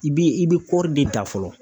I bi i bɛ kɔɔri de ta fɔlɔ.